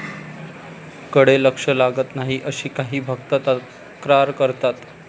कडे लक्ष लागत नाही अशी काही भक्त तक्रार करतात